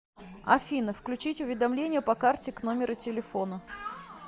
афина включить уведомления по карте к номеру телефона